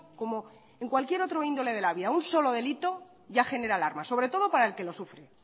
como en cualquier índole de la vida un solo delito ya genera alarma sobre todo para el que lo sufre